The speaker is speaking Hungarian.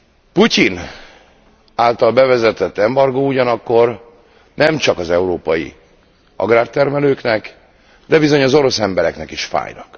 A Putyin által bevezetett embargó ugyanakkor nemcsak az európai agrártermelőknek, de bizony az orosz embereknek is fáj.